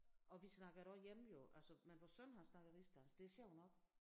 Og vi snakker det også hjemme jo altså men vores søn han snakker rigsdansk det sjovt nok